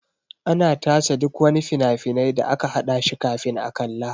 Ana tace duk wani fina-finai da aka haɗa shi kafin a kalla.